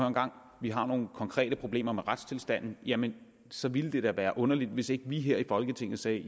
en gang vi har nogle konkrete problemer med retstilstanden jamen så ville det da være underligt hvis ikke vi her i folketinget sagde